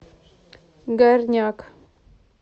горняк